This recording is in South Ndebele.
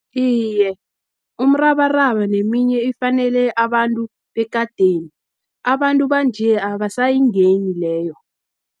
Iye, umrabaraba neminye ifanele abantu bekadeni, abantu banje, abasayingeni leyo.